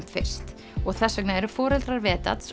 fyrst og þess vegna eru foreldrar